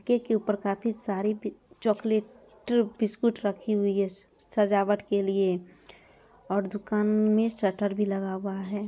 Cake के ऊपर काफी सारी बी चोकलेट बिस्कुट रखी हुई है स सजावट के लिए और दुकान में शटर भी लगा हुआ है।